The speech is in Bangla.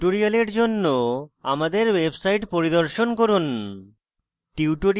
প্রাসঙ্গিক tutorials জন্য আমাদের website পরিদর্শন করুন